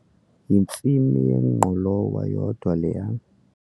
Yintsimi yengqolowa yodwa leya.